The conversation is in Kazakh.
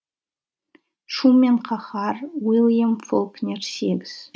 шу мен қаһар уильям фолкнер сегіз